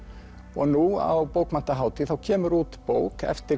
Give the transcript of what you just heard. og nú á bókmenntahátíð þá kemur út bók eftir